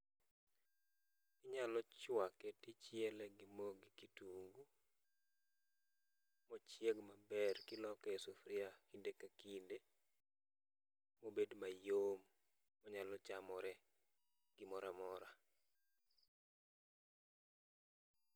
Inyalo chuake tichiele gi mo gi kitungu, mochieg maber kiloke e sufria kinde ka kinde, mobed mayom monyalo chamore gi gimoramora.